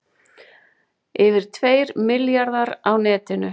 Yfir tveir milljarðar á netinu